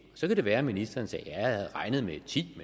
så kan det være at ministeren siger jeg havde regnet med ti